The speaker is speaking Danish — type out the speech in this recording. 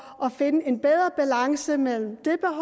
at finde en bedre balance mellem det